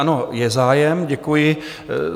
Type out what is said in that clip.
Ano, je zájem, děkuji.